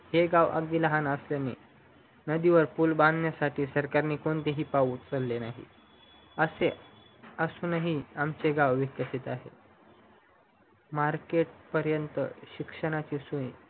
हे गाव अगदी लहान असल्याने नदीवर पूल बांधण्यासाठी सरकारने कोणतेही पाऊल उचलेले नाही असे असूनही आमचे गाव विकसित आहे market पर्यन्त शिक्षणाची सोय